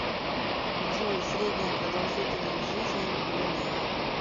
джой средняя продолжительность жизни в бруней